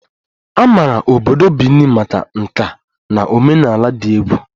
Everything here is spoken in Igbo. A maara obodo Benin maka nka na omenala dị egwu